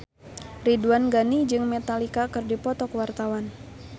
Ridwan Ghani jeung Metallica keur dipoto ku wartawan